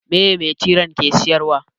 Meye metiron ke siyar wa?